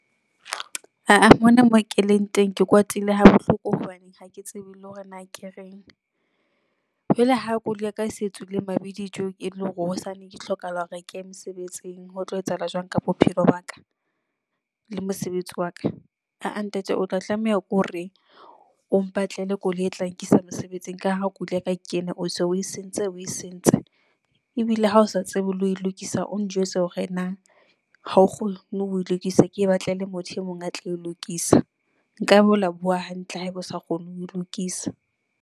Aa mona moo keleng teng, ke kwatile ha bohloko hobane hake tsebe le hore na ke reng jwale ha koloi ya ka se tswile mabidi tje, e le hore hosane ke hlokahala hore ke ye mosebetsing. Ho tlo etsahala jwang ka bophelo baka le mosebetsi wa ka? Aa ntate o tla tlameha ke hore o mpatlele koloi e tla nkisa mosebetsing ka ha koloi ya ka ke ena, o se o e sentse o e sentse. Ebile le ha o sa tsebe le ho lokisa, o njwetse hore na ha o kgone ho e lokisa. Ke e batlele motho e mong a tlo e lokisa. Nkabe o ile wa bua hantle haebe o sa kgone ho e lokisa.